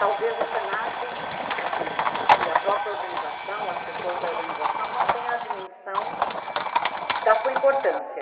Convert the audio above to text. Talvez o se na que, assim, e a própria organização, as pessoas da organização, não tenham a dimensão da sua importância.